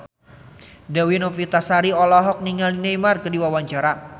Dewi Novitasari olohok ningali Neymar keur diwawancara